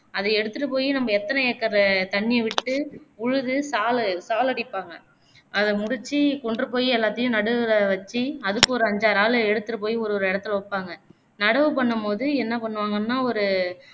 அதை எடுத்துட்டு போய் நம்ப எத்தனை acre தண்ணிய விட்டு விழுது சாலு சாலடிப்பாங்க அத முடிச்சு கொண்டுபோய் எல்லாத்தையும் நடுவுல வச்சு அதுக்கு ஒரு ஐந்தாறு ஆளு எடுத்துட்டுபோய் ஒருஒரு இடத்துல வைப்பாங்க நடவு பண்ணும்போது என்ன பண்ணுவாங்கன்னா ஒரு